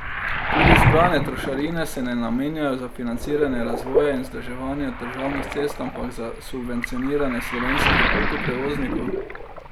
Tudi zbrane trošarine se ne namenjajo za financiranje razvoja in vzdrževanja državnih cest ampak za subvencioniranje slovenskih avtoprevoznikov.